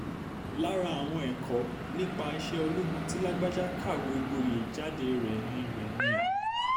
lára àwọn ẹ̀kọ́ nípa iṣẹ́ ológun tí lágbájá kàwé gboyè jáde rẹ̀ ni rẹ̀ ni a